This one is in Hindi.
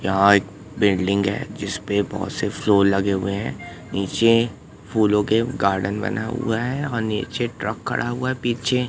यहां एक बिल्डिंग है जिस पे बहुत से फ्लोर लगे हुए हैं नीचे फूलों के गार्डन बना हुआ है और नीचे ट्रक खड़ा हुआ है पीछे।